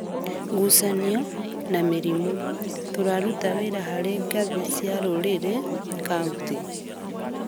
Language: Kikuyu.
ngucanio, na mĩrimũ. Tũraruta wĩra harĩ ngathĩ cia rũrĩrĩ, kauntĩ